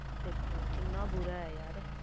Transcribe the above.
ਦੇਖੋ ਕਿੰਨਾ ਬੁਰਾ ਨਾ